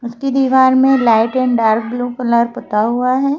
इसके दीवार में light and dark blue colour पता हुआ है।